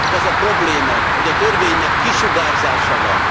Épp az a probléma, hogy a törvénynek kisugárzása van.